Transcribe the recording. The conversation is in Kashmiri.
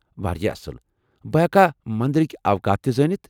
واریاہ اصل! بہٕ ہٮ۪کا مٔنٛدرٕكہِ اوقات تہِ زٲنِتھ؟